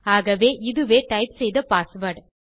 ஆகவே இதுவே டைப் செய்த பாஸ்வேர்ட்